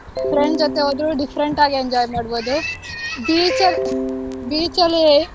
Friend ಜೊತೆ ಹೋದ್ರೂ different ಆಗ್ enjoy ಮಾಡ್ಬೋದು. beach ಅಲ್ beach ಅಲ್ಲಿ.